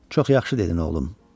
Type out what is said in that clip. Çox yaxşı dedin, oğlum.